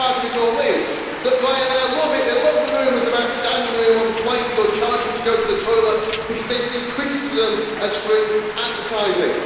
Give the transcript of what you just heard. The worst part of it all is that Ryanair loves it they love the rumours about standing room on planes, or charging to go to the toilet, because they see criticism as free advertising.